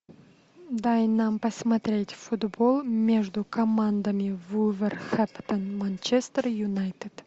дай нам посмотреть футбол между командами вулверхэмптон манчестер юнайтед